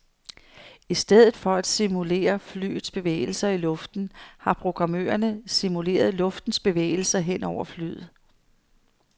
I stedet for at simulere flyets bevægelser i luften har programmørerne simuleret luftens bevægelser hen over flyet.